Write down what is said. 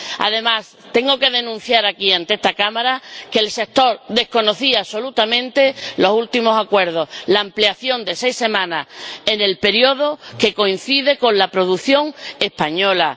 Además, tengo que denunciar aquí, ante esta Cámara, que el sector desconocía absolutamente los últimos acuerdos la ampliación de seis semanas del periodo, que coincide con la producción española